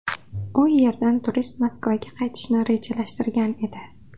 U yerdan turist Moskvaga qaytishni rejalashtirgan edi.